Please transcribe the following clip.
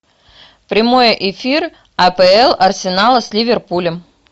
прямой эфир апл арсенала с ливерпулем